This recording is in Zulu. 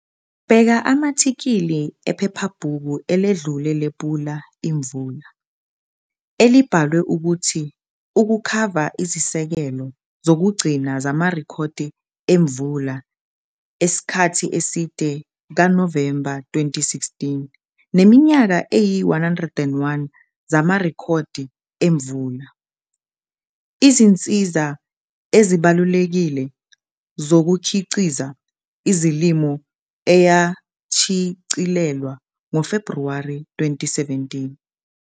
Bheka ama-athikhili ephephabhuku eledlule lePula Imvula, elibhalwe ukuthi ukukhava izesekelo zokugcina zamarekhodi emvula esikhathi eside kaNovemba 2016 neminyaka eyi-101 zamarekhodi emvula - izinsiza ezibalulekile zokukhiqiza izilimo eyashicilelwa ngoFebhuwari 2017.